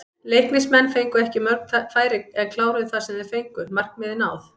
Leiknismenn fengu ekki mörg færi en kláruðu það sem þeir fengu, markmið náð?